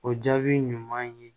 O jaabi ɲuman ye